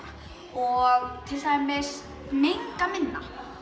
og til dæmis menga minna